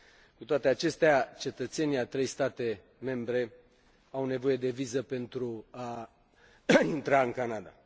Cu toate acestea, cetățenii a trei state membre au nevoie de viză pentru a intra în Canada.